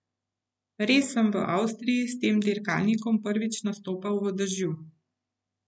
Res sem v Avstriji s tem dirkalnikom prvič nastopal v dežju.